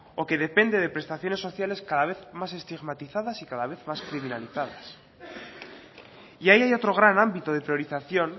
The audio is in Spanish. o que depende de prestaciones sociales cada vez más estigmatizadas y cada más criminalizadas y ahí hay otro gran ámbito de priorización